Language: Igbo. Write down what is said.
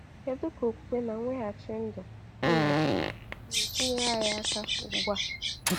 Kedu ka okwukwe na mweghachi ndụ ndụ ga-esi nyere anyị aka ugbu a?